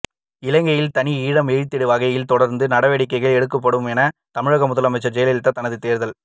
இலங்கையில் தனி ஈழம் எய்திடும் வகையில் தொடர்ந்து நடவடிக்கைகள் எடுக்கப்படும் என தமிழக முதலமைச்சர் ஜெயலலிதா தனது தேர்தல்